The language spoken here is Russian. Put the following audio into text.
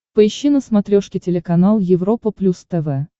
поищи на смотрешке телеканал европа плюс тв